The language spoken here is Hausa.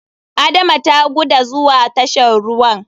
Adama ta guda zuwa tashan ruwan.